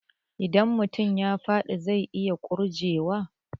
Idan mutum ya faɗi zai iya ƙurje wa